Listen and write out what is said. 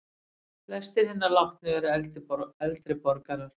Flestir hinna látnu eru eldri borgarar